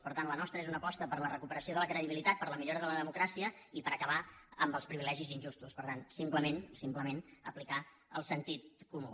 per tant la nostra és una aposta per la recuperació de la credibilitat per la millora de la democràcia i per acabar amb els privilegis injustos per tant simplement simplement aplicar el sentit comú